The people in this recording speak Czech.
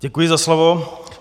Děkuji za slovo.